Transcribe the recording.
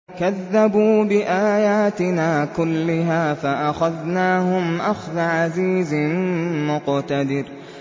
كَذَّبُوا بِآيَاتِنَا كُلِّهَا فَأَخَذْنَاهُمْ أَخْذَ عَزِيزٍ مُّقْتَدِرٍ